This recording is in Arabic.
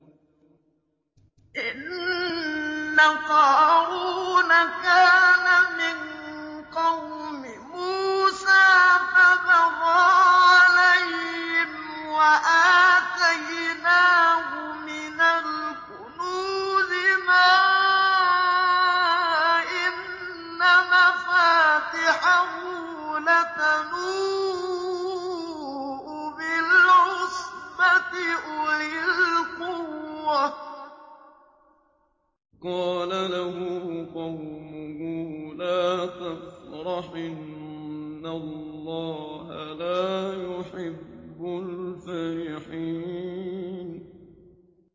۞ إِنَّ قَارُونَ كَانَ مِن قَوْمِ مُوسَىٰ فَبَغَىٰ عَلَيْهِمْ ۖ وَآتَيْنَاهُ مِنَ الْكُنُوزِ مَا إِنَّ مَفَاتِحَهُ لَتَنُوءُ بِالْعُصْبَةِ أُولِي الْقُوَّةِ إِذْ قَالَ لَهُ قَوْمُهُ لَا تَفْرَحْ ۖ إِنَّ اللَّهَ لَا يُحِبُّ الْفَرِحِينَ